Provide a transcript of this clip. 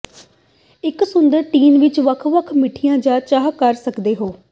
ਇਕ ਸੁੰਦਰ ਟੀਨ ਵਿਚ ਵੱਖ ਵੱਖ ਮਿੱਠੀਆਂ ਜਾਂ ਚਾਹ ਕਰ ਸਕਦੇ ਹੋ